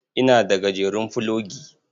Ina da gajeren fulogi.